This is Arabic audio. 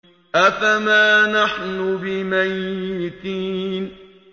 أَفَمَا نَحْنُ بِمَيِّتِينَ